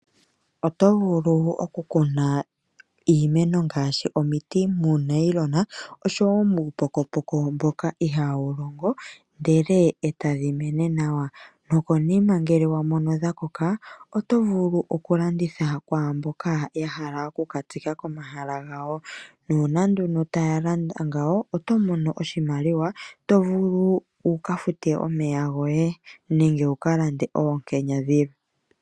Otovulu okukuna iimeno ngaashi omiti muunayilona oshowo muupokopoko mboka iihawu longo, ndele etadhi mene nawa. Nokonima ngele wamono dhakoka, otovulu okulanditha kwaamboka yahala okukakuna komahala gawo, nuuna ndono taya landa ngawo otomono oshimaliwa tovulu wukafute omeya goye nenge wukalande oonkenya dhilwe.